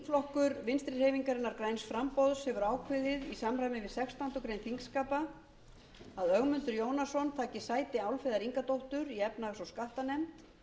þingflokkur vinstri hreyfingarinnar græns framboðs hefur ákveðið í samræmi við sextándu grein þingskapa að ögmundur jónasson taki sæti álfheiðar ingadóttur í efnahags og skattanefnd